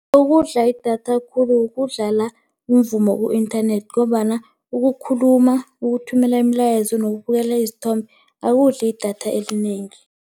Okudla idatha khulu, ukudlala umvumo ku-inthanethi ngombana ukukhuluma, ukuthumela imilayezo nokubukela izithombe akudli idatha elinengi.